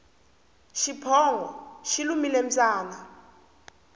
xiphongo xi lumile mbyana